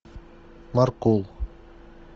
маркул